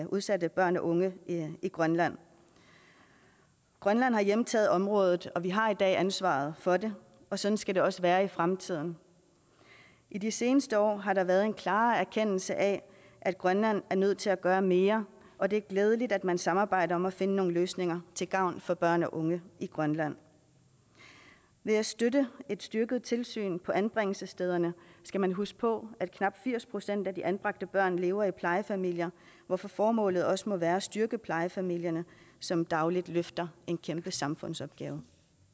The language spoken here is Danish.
udsatte børn og unge i grønland grønland har hjemtaget området og vi har i dag ansvaret for det og sådan skal det også være i fremtiden i de seneste år har der været en klarere erkendelse af at grønland er nødt til at gøre mere og det er glædeligt at man samarbejder om at finde nogle løsninger til gavn for børn og unge i grønland ved at støtte et styrket tilsyn på anbringelsesstederne skal man huske på at knap firs procent af de anbragte børn lever i plejefamilier hvorfor formålet også må være at styrke plejefamilierne som dagligt løfter en kæmpe samfundsopgave